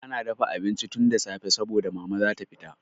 An dafa abinci tun da safe saboda Mama za ta fita.